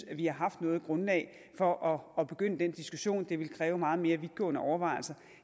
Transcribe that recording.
at vi har haft noget grundlag for at begynde den diskussion det ville kræve meget mere vidtgående overvejelser